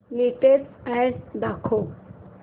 latest ad दाखव